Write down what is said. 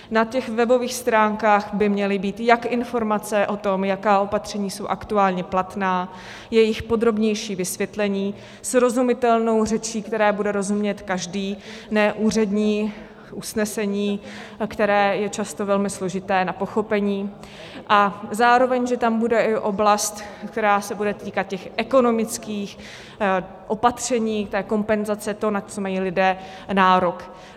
Na těch webových stránkách by měly být jak informace o tom, jaká opatření jsou aktuálně platná, jejich podrobnější vysvětlení srozumitelnou řečí, které bude rozumět každý, ne úřední usnesení, které je často velmi složité na pochopení, a zároveň že tam bude i oblast, která se bude týkat těch ekonomických opatření, té kompenzace toho, na co mají lidé nárok.